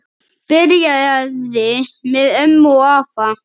Byrjaði með ömmu og afa